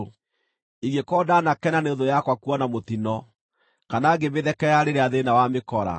“Ingĩkorwo ndaanakena nĩ thũ yakwa kuona mũtino, kana ngĩmĩthekerera rĩrĩa thĩĩna wamĩkora,